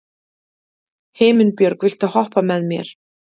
Himinbjörg, viltu hoppa með mér?